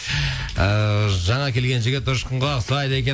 ыыы жаңа келген жігіт ұшқынға ұқсайды екен